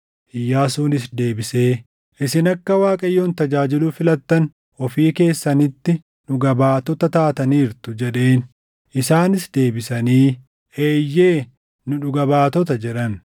Iyyaasuunis deebisee, “Isin akka Waaqayyoon tajaajiluu filattan ofii keessanitti dhugaa baatota taataniirtu” jedheen. Isaanis deebisanii, “Eeyyee, nu dhugaa baatota” jedhan.